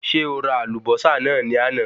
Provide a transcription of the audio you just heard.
Ṣé o ra àlùbọ́sà náà ni àná?